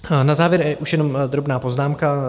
Na závěr už jenom drobná poznámka.